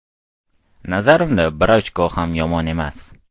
Nazarimda bir ochko ham yomon emas.